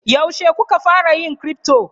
Yaushe kuka fara yin crypto?